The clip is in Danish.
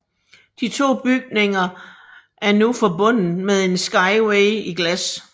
De to bygninger af nu forbundet med en skyway i glas